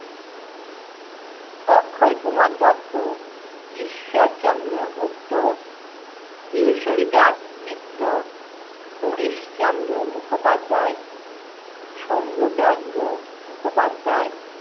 Akshay Kumar Dutta, Ishwarchandra Gupta, Kishori Chand Mitra, Harishchandra Mukhopadhyay, Shambhuchandra Mukhopadhyay,